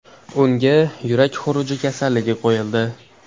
Unga yurak xuruji tashhisi qo‘yildi.